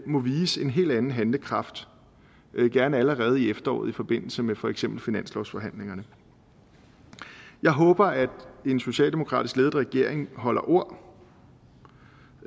må vise en helt anden handlekraft gerne allerede i efteråret i forbindelse med for eksempel finanslovsforhandlingerne jeg håber at en socialdemokratisk ledet regering holder ord